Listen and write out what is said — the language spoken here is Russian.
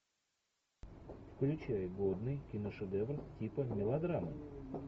включай годный киношедевр типа мелодрамы